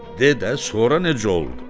De də sonra necə oldu?